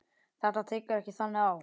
Þetta tekur ekki þannig á.